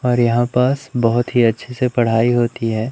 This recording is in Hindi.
और यहां पास बहोत ही अच्छे से पढ़ाई होती है।